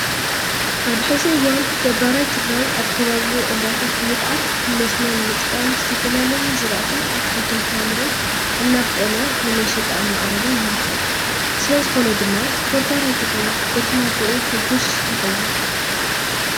ኣብ ሕዚ እዋን ገባራይ ትግራይ ኣብ ከባቢኡ ዒላታት ብምኹዓት ንመስኖ ንምጥቃም ዝተፈላለዩ ዝራእቲን ኣትኽልትን ፍራምረን እናብቆለ ንመሸጣ እናቅረበ ይርከብ። ስለዝኾነ ድማ ገባራይ ትግራይ በቲ ናብርኡ ሕጉስ ይኸውን።